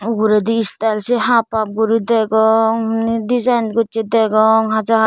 uguredi istayel se hap hap guri degong dejayin gocchey degong haja.